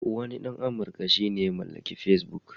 Wani ɗan Amurka shi ya mallaki Facebook.